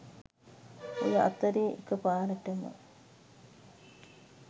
ඔය අතරේ එකපාරටම